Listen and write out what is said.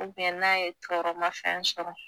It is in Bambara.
U biyɛn n' a ye n'a ye tɔrɔmafɛn sɔrɔ